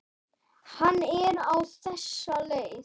Hann er á þessa leið